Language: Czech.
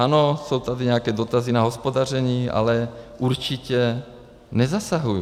Ano, jsou tady nějaké dotazy na hospodaření, ale určitě nezasahuji.